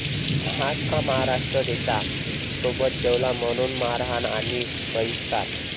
हाच का महाराष्ट्र देशा?, सोबत जेवला म्हणून मारहाण आणि बहिष्कार!